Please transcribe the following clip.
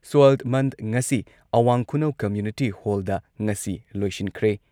Soil ꯃꯟꯊ ꯉꯁꯤ ꯑꯋꯥꯡ ꯈꯨꯅꯧ ꯀꯝꯃ꯭ꯌꯨꯅꯤꯇꯤ ꯍꯣꯜꯗ ꯉꯁꯤ ꯂꯣꯏꯁꯤꯟꯈ꯭ꯔꯦ ꯫